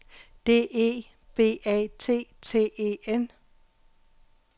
D E B A T T E N